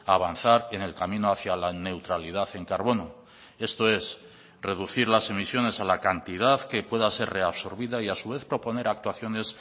avanzar en el camino hacia la neutralidad en carbono esto es reducir las emisiones a la cantidad que pueda ser reabsorbida y a su vez proponer actuaciones